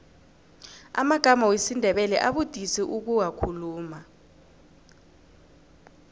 amagama wesindebele abudisi ukuwakhuluma